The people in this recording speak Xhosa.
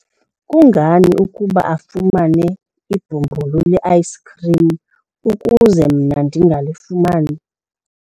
kungani ukuba afumane ibhumbulu le-ayisikhrim ukuze mna ndingalifumani?